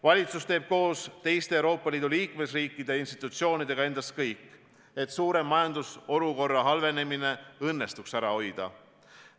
Valitsus annab koos teiste Euroopa Liidu liikmesriikide institutsioonidega endast kõik, et suurem majandusolukorra halvenemine õnnestuks ära hoida.